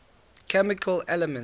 chemical elements